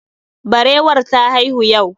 Barewar ta haihu yau